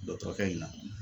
Dɔgɔtɔrɔkɛ in na.